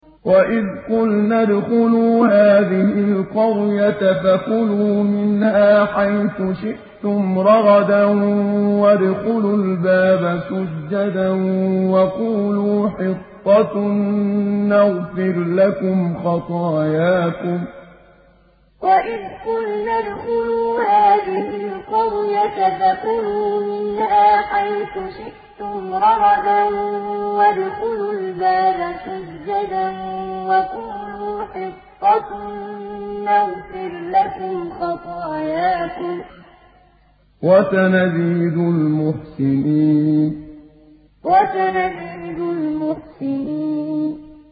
وَإِذْ قُلْنَا ادْخُلُوا هَٰذِهِ الْقَرْيَةَ فَكُلُوا مِنْهَا حَيْثُ شِئْتُمْ رَغَدًا وَادْخُلُوا الْبَابَ سُجَّدًا وَقُولُوا حِطَّةٌ نَّغْفِرْ لَكُمْ خَطَايَاكُمْ ۚ وَسَنَزِيدُ الْمُحْسِنِينَ وَإِذْ قُلْنَا ادْخُلُوا هَٰذِهِ الْقَرْيَةَ فَكُلُوا مِنْهَا حَيْثُ شِئْتُمْ رَغَدًا وَادْخُلُوا الْبَابَ سُجَّدًا وَقُولُوا حِطَّةٌ نَّغْفِرْ لَكُمْ خَطَايَاكُمْ ۚ وَسَنَزِيدُ الْمُحْسِنِينَ